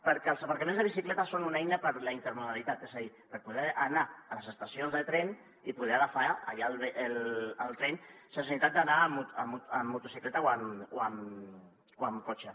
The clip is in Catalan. perquè els aparcaments de bicicletes són una eina per a la intermodalitat és a dir per poder anar a les estacions de tren i poder agafar allà el tren sense necessitat d’anar en motocicleta o amb cotxe